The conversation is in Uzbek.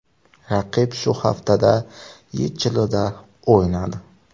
Raqib shu haftada YeChLda o‘ynadi?